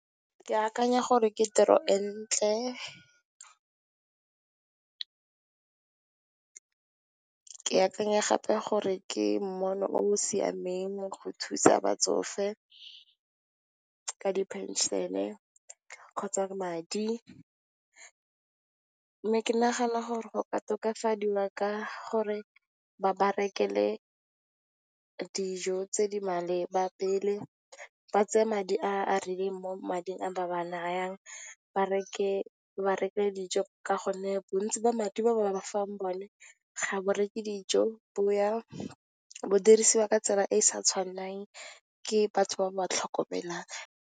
Ke akanya gore ke tiro e ntle, ke akanya gape gore ke mmono o siameng go thusa batsofe ka di phenšene kgotsa madi. Mme, ke nagana gore go ka tokafadiwa ka gore ba ba rekele dijo tse di maleba pele. Ba tseye madi a a rileng mo mading a ba ba nayang, ba ba rekele dijo ka gonne, bontsi jwa madi ba bafang one ga a reke dijo a dirisiwa ka tsela e e sa tshwanelang, ke batho ba ba tlhokomelang.